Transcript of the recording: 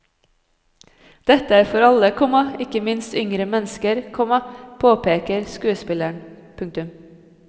Dette er for alle, komma ikke minst yngre mennesker, komma påpeker skuespilleren. punktum